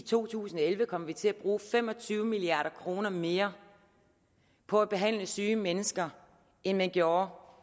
to tusind og elleve kommer vi til at bruge fem og tyve milliard kroner mere på at behandle syge mennesker end man gjorde